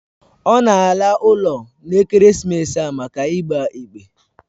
Ọ na ala ụlọ n'ekeresimesi a maka ịgba ekpe